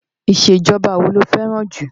Ìṣèjọba wo lo fẹ́ràn jù?